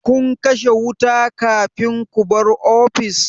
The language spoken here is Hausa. Kun kashe wuta kafin ku bar ofis?